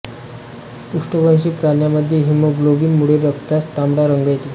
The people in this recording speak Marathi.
पृष्ठवंशी प्राण्यामध्ये हिमोग्लोबिन मुळे रक्तास तांबडा रंग येतो